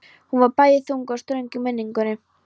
Hún var bæði þung og ströng í minningunni.